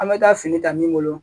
An bɛ taa fini ta min bolo